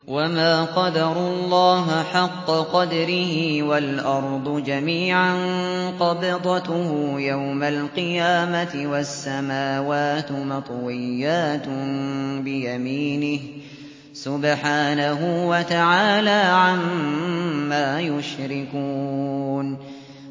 وَمَا قَدَرُوا اللَّهَ حَقَّ قَدْرِهِ وَالْأَرْضُ جَمِيعًا قَبْضَتُهُ يَوْمَ الْقِيَامَةِ وَالسَّمَاوَاتُ مَطْوِيَّاتٌ بِيَمِينِهِ ۚ سُبْحَانَهُ وَتَعَالَىٰ عَمَّا يُشْرِكُونَ